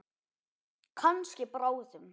Kannski bráðum.